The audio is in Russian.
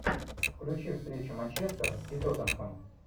включи встречу манчестера и тоттенхэма